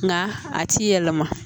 Nka a ti yɛlɛma